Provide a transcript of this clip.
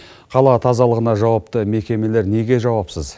қала тазалығына жауапты мекемелер неге жауапсыз